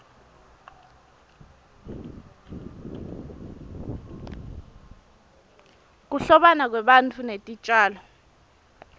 kuhlobana kwebantfu netitjalo